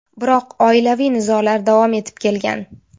Biroq oilaviy nizolar davom etib kelgan.